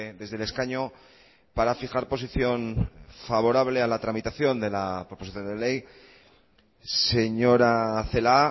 desde el escaño para fijar posición favorable a la tramitación de la proposición de ley señora celaá